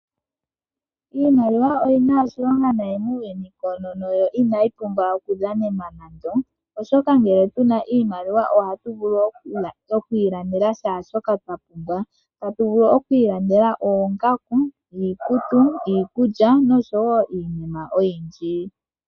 Iimaliwa oyina oshilonga nayi muu yuni koonono no inayi pumbwa oku dhanenwa nando oshoka ngele tuna iimaliwa oha tu vulu okwii landela shaa shoka twa pumbwa tatu vulu okwiilandela oongaku, iikutu, iikulya nosho woo iinima oyindji.